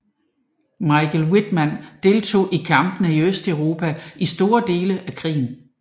Michael Wittmann deltog i kampene i Østeuropa i store dele af krigen